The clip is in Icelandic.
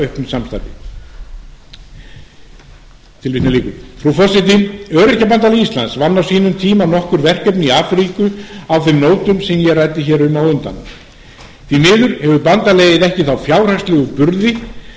auknu samstarfi frú forseti öryrkjabandalag íslands vann á sínum tíma nokkur verkefni í afríku á þeim nótum sem ég ræddi hér um á undan því miður hefur bandalagið ekki þá fjárhagslegu